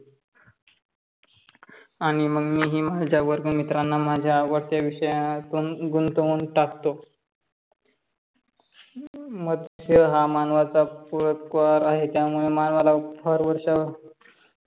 आणि मग मी ही माझ्या वर्गमित्राना माझ्या आवडत्या विषयात गुंतवून टाकतो. मत्स्य हा मानवाचा पुलकवर आहे त्यामुळे हरवर्ष